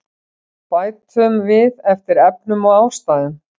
Bætum við eftir efnum og ástæðum